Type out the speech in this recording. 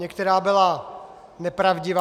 Některá byla nepravdivá.